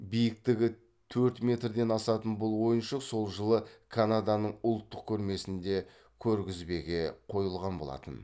биіктігі төрт метрден асатын бұл ойыншық сол жылы канаданың ұлттық көрмесінде көргізбеге қойылған болатын